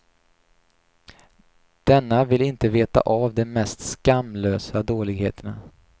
Denna ville inte veta av de mest skamlösa dåligheterna.